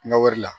Na wari la